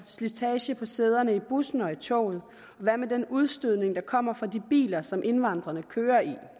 slitage på sæderne i bussen og i toget koster hvad med den udstødning der kommer fra de biler som indvandrerne kører i